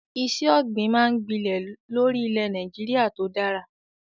Iṣẹ́ ọ̀gbìn máa ń gbilẹ̀ lórí ilẹ̀ Nàìjíríà tó dára.